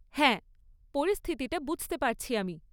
হ্যাঁ, পরিস্থিতিটা বুঝতে পারছি আমি।